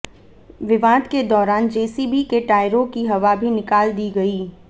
विवाद के दौरान जेसीबी के टायरों की हवा भी निकाल दी गई